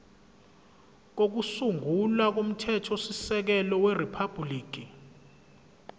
kokusungula komthethosisekelo weriphabhuliki